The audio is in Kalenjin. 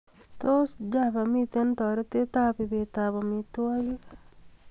Tos, Java miten toretab ibetab amitwigik